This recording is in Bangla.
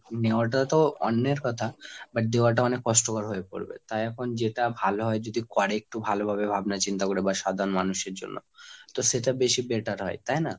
নেওয়াটা তো অন্যের কথা but দেওয়াটা অনেক কষ্টকর হয়ে পড়বে। তাই এখন যেটা ভালো হয় যদি করে একটু ভালোভাবে ভাবনা চিন্তা করে বা সাধারণ মানুষের জন্য। তো সেটা বেশি better হয়। তাই না?